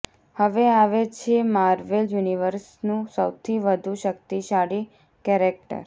હવે આવે છે માર્વેલ યુનિવર્સનું સૌથી વધુ શક્તિશાળી કૅરૅક્ટર